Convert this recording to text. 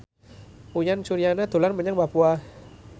Uyan Suryana dolan menyang Papua